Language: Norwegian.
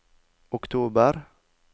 oktober